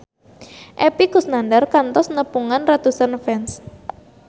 Epy Kusnandar kantos nepungan ratusan fans